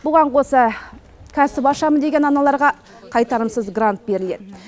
бұған қоса кәсіп ашамын деген аналарға қайтарымсыз грант беріледі